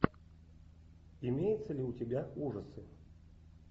имеется ли у тебя ужасы